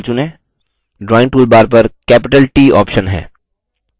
drawing toolbar पर capital t option है